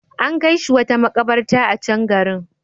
An kai shi wata makabarta a can garin.